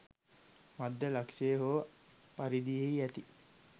මධ්‍ය ලක්ෂ්‍යය හෝ පරිධියෙහි ඇති